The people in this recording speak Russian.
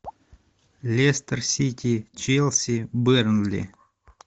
лестер сити челси бернли